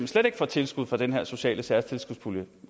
slet ikke får tilskud fra den her sociale særtilskudspulje